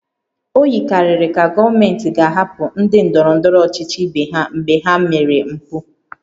O yikarịrị ka gọọmenti ga-ahapụ ndị ndọrọ ndọrọ ọchịchị ibe ha mgbe ha mere mpụ